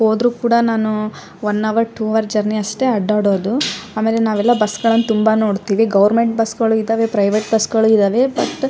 ಹೋದ್ರು ಕೂಡ ನಾನು one hour two hour journey ಅಷ್ಟೇ ಅಡ್ಡಾಡೋದು ಆಮೇಲೆ ನಾವೆಲ್ಲ ಬಸ್ಗಳನ್ನು ತುಂಬಾ ನೋಡ್ತಿವಿ ಗೋವೆರ್ಮೆನ್ಟ್ ಬಸ್ ಗಳು ಇದ್ದವೇ ಪ್ರೈವೇಟ್ ಬಸ್ಗಳು ಇದ್ದವೇ ಬಟ್ --